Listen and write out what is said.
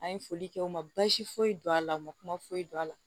An ye foli kɛ u ma baasi foyi don a la u ma kuma foyi dɔn a la